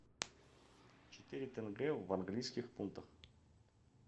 четыре тенге в английских фунтах